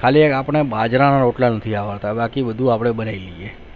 ખાળે એક આપણા બાજરા ના રોટલા નથી આવે છે બાકી બધું અપને મળે છે